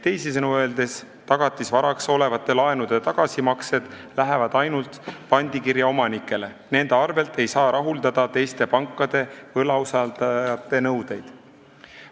Teisisõnu öeldes lähevad tagatisvaraks olevate laenude tagasimaksed ainult pandikirja omanikele, nende arvel ei saa rahuldada teiste pankade võlausaldajate nõudeid.